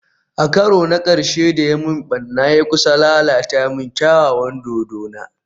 A karo na karshe da ya yi min barna, ya kusa lalata min kyawawan dodona